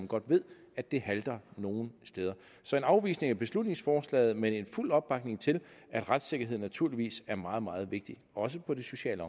godt ved at det halter nogle steder så en afvisning af beslutningsforslaget men fuld opbakning til at retssikkerhed naturligvis er meget meget vigtigt også på det sociale